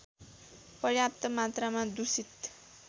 पर्याप्त मात्रमा दूषित